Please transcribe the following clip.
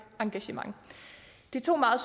engagement det er to meget